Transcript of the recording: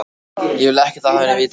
Ég vil ekkert af henni vita.